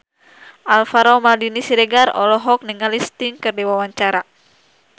Alvaro Maldini Siregar olohok ningali Sting keur diwawancara